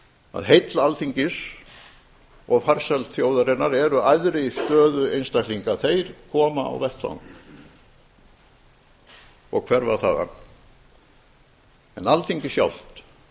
að heill alþingis og farsæld þjóðarinnar eru æðri stöðu einstaklinga þeir koma á vettvang og hverfa þaðan en alþingi sjálft